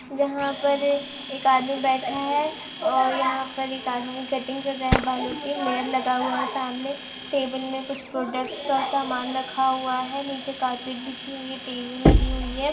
जहाँ पर एक आदमी बैठा है और यहाँ पर एक आदमी कटिग कर रहा है बालो की मिरर लगा हुआ है। सामने टेबल में कुछ प्रोडक्ट्स और सामान रखा हुआ है। नीचे कारपेट बिजी हुए टी.वी. लगी हुई है।